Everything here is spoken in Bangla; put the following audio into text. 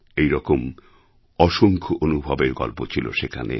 এই রকম অসংখ্য অনুভবের গল্প ছিল সেখানে